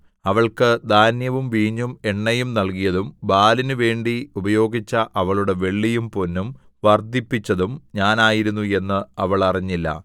അവൾക്ക് ധാന്യവും വീഞ്ഞും എണ്ണയും നല്കിയതും ബാലിനു വേണ്ടി ഉപയോഗിച്ച അവളുടെ വെള്ളിയും പൊന്നും വർദ്ധിപ്പിച്ചതും ഞാനായിരുന്നു എന്ന് അവൾ അറിഞ്ഞില്ല